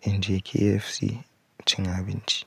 in je KFC cin abinci.